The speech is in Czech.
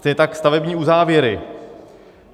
Stejně tak stavební uzávěry.